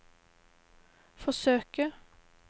forsøke